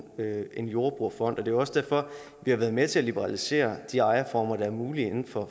en jordbrugerfond og det er også derfor vi har været med til at liberalisere de ejerformer der er mulige inden for